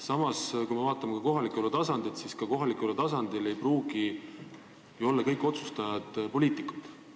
Samas, kui me vaatame kohaliku elu tasandit, siis ka seal ei pruugi kõik otsustajad olla poliitikud.